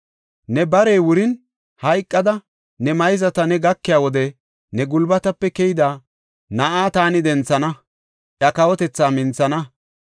Ne barey wurin, hayqada ne mayzata ne gakiya wode ne gulbatape keyida na7a taani denthana; iya kawotethaa minthana.